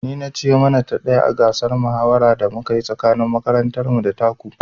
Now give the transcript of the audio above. Ni na ci yo mana ta ɗaya a gasar mahawara da aka yi tsakanin makarantar mu da ta ku